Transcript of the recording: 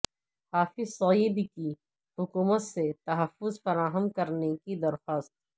حافظ سعید کی حکومت سے تحفظ فراہم کرنی کی درخواست